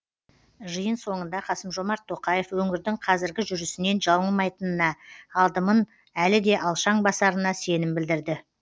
жиын соңында қасым жомарт тоқаев өңірдің қазіргі жүрісінен жаңылмайтынына адымын әлі де алшаң басарына сенім білдірді